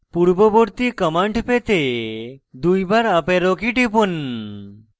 পূর্ববর্তী command পেতে দুইবার up arrow key টিপুন